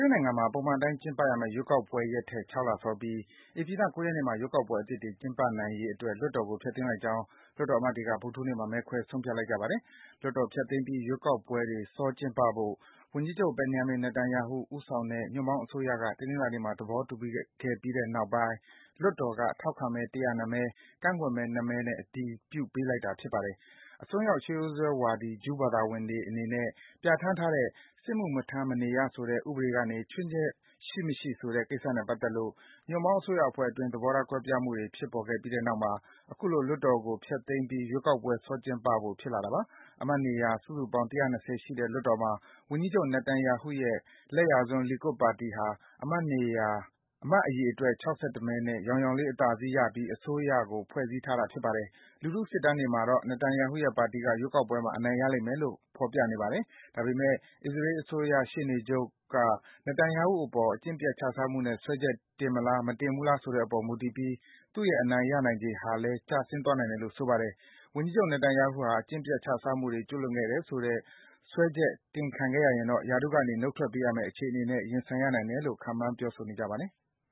ေးနိုင်ငံမှာ ပုံမှန်အတိုင်း ကျင်းပရမယ့် ရွေးကောက်ပွဲရက်ထက် ၆ လစောပြီး ဧပြီလ ၉ ရက်နေ့မှာ ရွေးကောက်ပွဲအသစ်တွေ ကျင်းပနိုင်ရေးအတွက် လွှတ်တော်ကို ဖျက်သိမ်း လိုက်ကြောင်း လွှတ်တော်အမတ်တွေက ဗုဒ္ဓဟူးနေ့မှာ မဲခွဲဆုံး ဖြတ်လိုက်ကြပါတယ်။ လွှတ်တော်ဖျက်သိမ်းပြီး ရွေးကောက်ပွဲတွေ စောကျင်းပဖို့ ဝန်ကြီးချုပ် Benjamin Netanyahu ဦးဆောင်တဲ့ ညွန့်ပေါင်းအစိုးရက တနင်္လာနေ့မှာ သဘော တူပြီးတဲ့ နောက်ပိုင်း လွှတ်တော်က ထောက်ခံမဲ ၁၀၂ မဲ၊ ကန့်ကွက်မဲ ၂ မဲနဲ့ မဲခွဲ အတည်ပြုလိုက်ကြတာပါ။ အစွန်းရောက် ရှေးရိုးစွဲဝါဒီ ဂျူးဘာသာဝင်တွေအနေနဲ့ ပြဌာန်းထားတဲ့ စစ်မှု မထမ်းမနေရ ဆိုတဲ့ ဥပဒေကနေ ချွင်းချက် ရှိမရှိ ဆိုတဲ့ ကိစ္စနဲ့ပတ်သက်လို့ ညွန့်ပေါင်း အစိုးရ အဖွဲ့ အတွင်း သဘောထားကွဲပြားမှုတွေ ဖြစ်ပေါ်ပြီးနောက်မှာ အခုလို လွှတ်တော်ကို ဖျက်သိမ်းပြီး ရွေးကောက်ပွဲ စောကျင်းပဖို့ ဖြစ်လာတာပါ။ အမတ်နေရာ စုစုပေါင်း ၁၂၀ ရှိတဲ့ လွှတ်တော်မှာ ဝန်ကြီးချုပ် Netanyahu ရဲ့ လက်ယာစွန်း Likud ပါတီဟာ အမတ်အရေအတွက် ၆၁ မဲနဲ့ ယောင်ယောင်လေး အသာစီးရပြီး အစိုးရအဖွဲ့ကို ဖွဲ့စည်းထားတာ ဖြစ်ပါတယ်။ လူထုစစ်တမ်းတွေမှာတော့ Netanyahu ရဲ့ပါတီက ရွေးကောက်ပွဲမှာ အနိုင်ရမယ်လို့ ဖော်ပြနေပါတယ်။ ဒါပေမယ့် အစ္စရေးအစိုးရ ရှေ့နေချုပ်က Netanyahu အပေါ် အကျင့်ပျက် ခြစားမှုနဲ့ စွဲချက်တင်မလား၊ မတင်ဘူးလားဆိုတဲ့အပေါ် မူတည်ပြီး သူ့ရဲ့ အနိုင်ရနိုင်ခြေဟာလည်း ကျဆင်းသွားနိုင်တယ်လို့ ဆိုပါတယ်။ ဝန်ကြီးချုပ် Netanyahu ဟာ အကျင့်ပျက် ခြစားမှုတွေ ကျူးလွန်ခဲ့တယ်ဆိုတဲ့ စွဲချက် တင်ခံခဲ့ရရင်တော့ ရာထူးကနေ နှုတ်ထွက်ပေးရမယ့် အခြေအနေနဲ့ ရင်ဆိုင်ရနိုင်တယ်လို့ ခန့်မှန်း ပြောဆိုနေကြပါတယ်။